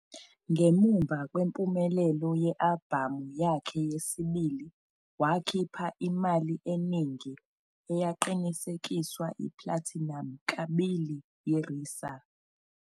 Ngemuva kwempumelelo ye-albhamu yakhe yesibili wakhipha i-"Mali Eningi", eyaqinisekiswa i-platinum kabili yi- RiSA.